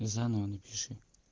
и заново напиши